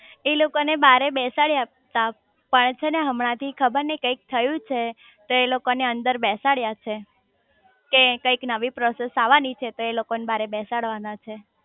એ લોકો ને બારે બેસાડયા તા પણ છે ને હમણાં થી ખબર નઈ કંઈક થયું છે તો એ લોકો ને અંદર બેસાડયા છે કે કંઈક નવી પ્રૉસેસ આવાની છે તો એ લોકો ને મારે બેસાડવાના છે